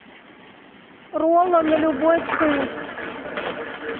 роллы на любой вкус